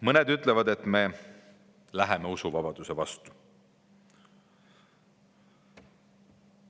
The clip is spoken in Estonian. Mõned ütlevad, et me läheme usuvabaduse vastu.